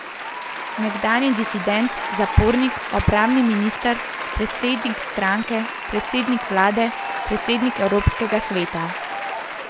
Nekdanji disident, zapornik, obrambni minister, predsednik stranke, predsednik vlade, predsednik evropskega sveta.